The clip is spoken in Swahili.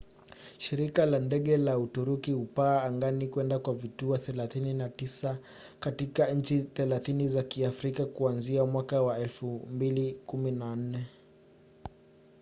shirika la ndege la uturuki hupaa angani kwenda kwa vituo 39 katika nchi 30 za kiafrika kuanzia mwaka wa 2014